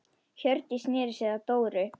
Hjördís sneri sér að Dóru.